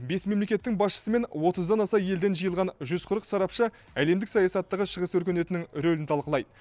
бес мемлекеттің басшысы мен отыздан аса елден жиылған жүз қырық сарапшы әлемдік саясаттағы шығыс өркениетінің рөлін талқылайды